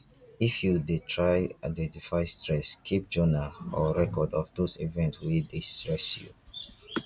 if you dey try identify stress keep journal or record of those events wey dey stress you